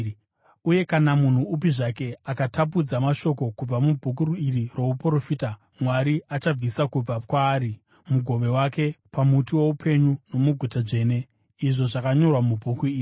Uye, kana munhu upi zvake akatapudza mashoko kubva mubhuku iri rouprofita, Mwari achabvisa kubva kwaari mugove wake pamuti woupenyu nomuguta dzvene, izvo zvakanyorwa mubhuku iri.